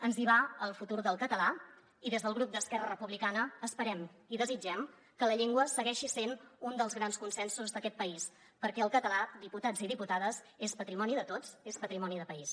ens hi va el futur del català i des del grup d’esquerra republicana esperem i desitgem que la llengua segueixi sent un dels grans consensos d’aquest país perquè el català diputats i diputades és patrimoni de tots és patrimoni de país